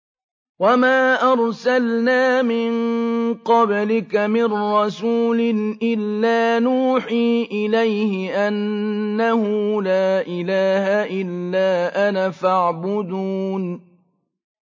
وَمَا أَرْسَلْنَا مِن قَبْلِكَ مِن رَّسُولٍ إِلَّا نُوحِي إِلَيْهِ أَنَّهُ لَا إِلَٰهَ إِلَّا أَنَا فَاعْبُدُونِ